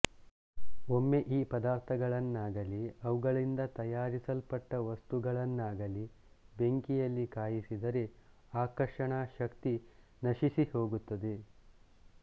ಒಮ್ಮೆ ಈ ಪದಾರ್ಥಗಳನ್ನಾಗಲಿ ಅವುಗಳಿಂದ ತಯಾರಿಸಲ್ಪಟ್ಟ ವಸ್ತುಗಳನ್ನಾಗಲಿ ಬೆಂಕಿಯಲ್ಲಿ ಕಾಯಿಸಿದರೆ ಆಕರ್ಷಣ ಶಕ್ತಿ ನಶಿಸಿಹೋಗುತ್ತದೆ